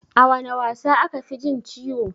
A wana wasa aka fi jin ciwo?